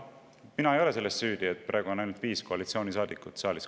Mina ei ole selles süüdi, et praegu on ainult viis koalitsioonisaadikut saalis.